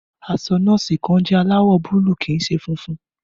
Aṣọ nọ́ọ̀sì kan jẹ́ aláwọ̀ búlúù kì í ṣe funfun.